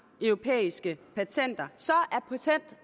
europæiske patenter